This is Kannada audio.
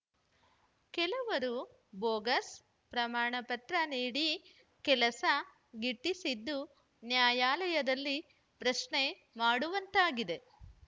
ಕೆಲವರು ಬೋಗಸ್ ಪ್ರಮಾಣ ಪತ್ರ ನೀಡಿ ಕೆಲಸ ಗಿಟ್ಟಿಸಿದ್ದು ನ್ಯಾಯಾಲಯದಲ್ಲಿ ಪ್ರಶ್ನೆ ಮಾಡುವಂತಾಗಿದೆ